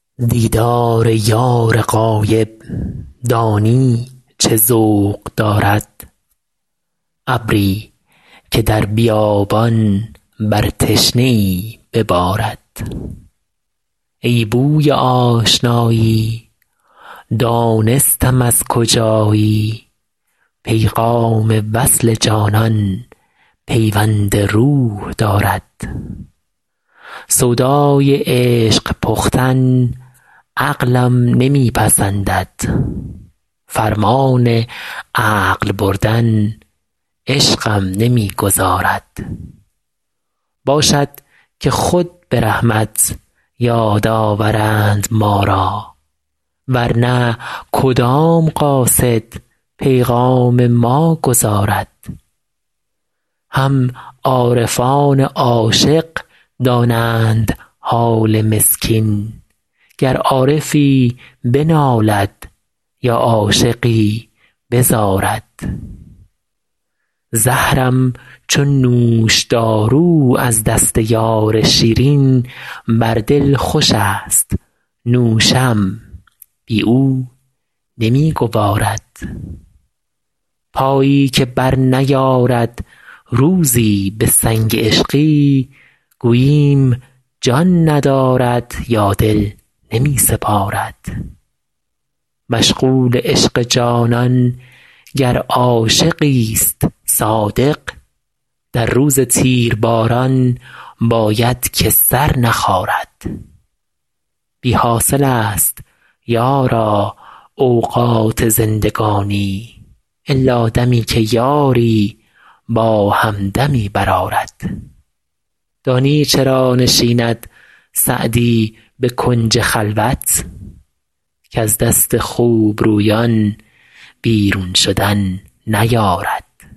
دیدار یار غایب دانی چه ذوق دارد ابری که در بیابان بر تشنه ای ببارد ای بوی آشنایی دانستم از کجایی پیغام وصل جانان پیوند روح دارد سودای عشق پختن عقلم نمی پسندد فرمان عقل بردن عشقم نمی گذارد باشد که خود به رحمت یاد آورند ما را ور نه کدام قاصد پیغام ما گزارد هم عارفان عاشق دانند حال مسکین گر عارفی بنالد یا عاشقی بزارد زهرم چو نوشدارو از دست یار شیرین بر دل خوشست نوشم بی او نمی گوارد پایی که برنیارد روزی به سنگ عشقی گوییم جان ندارد یا دل نمی سپارد مشغول عشق جانان گر عاشقیست صادق در روز تیرباران باید که سر نخارد بی حاصلست یارا اوقات زندگانی الا دمی که یاری با همدمی برآرد دانی چرا نشیند سعدی به کنج خلوت کز دست خوبرویان بیرون شدن نیارد